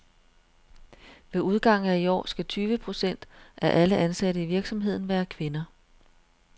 Ved udgangen af i år skal tyve procent af alle ansatte i virksomheden være kvinder.